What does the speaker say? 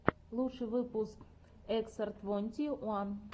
лучший выпуск эксар твонти уан